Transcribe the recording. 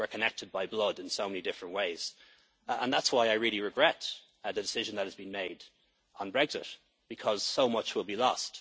people. We are connected by blood in so many different ways and that's why I really regret the decision that has been made on Brexit, because so much